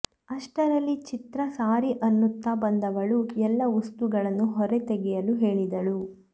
ಅಷ್ಟರಲ್ಲಿ ಚಿತ್ರಾ ಸಾರಿ ಅನ್ನುತ್ತ ಬಂದವಳು ಎಲ್ಲ ವಸ್ತುಗಳನ್ನು ಹೊರತೆಗೆಯಲು ಹೇಳಿದಳು